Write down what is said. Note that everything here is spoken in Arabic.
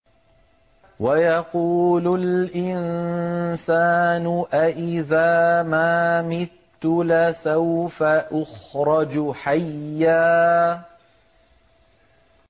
وَيَقُولُ الْإِنسَانُ أَإِذَا مَا مِتُّ لَسَوْفَ أُخْرَجُ حَيًّا